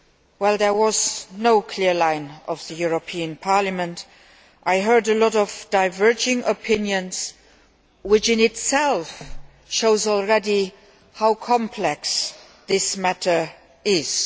Well, there was no clear line from the European Parliament. I heard a lot of diverging opinions, which in itself shows how complex this matter is.